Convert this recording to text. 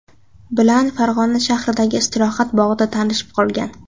bilan Farg‘ona shahridagi istirohat bog‘ida tanishib qolgan.